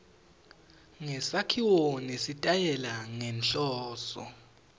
ngesakhiwo nesitayela ngenhloso